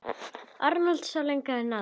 Arnold sá lengra en aðrir.